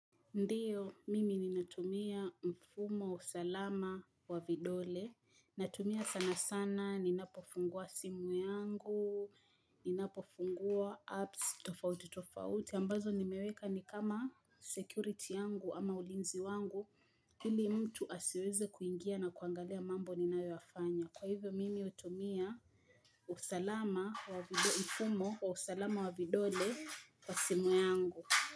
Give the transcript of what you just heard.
Ndiyo, mimi ninatumia mfumo, wa usalama, wa vidole. Natumia sana sana, ninapofungua simu yangu, ninapofungua apps, tofauti, tofauti. Ambazo nimeweka ni kama security yangu ama ulinzi wangu. Ili mtu asiweze kuingia na kuangalia mambo ninayoyafanya. Kwa hivyo, mimi hutumia usalama, mfumo wa usalama, wa vidole, kwa simu yangu.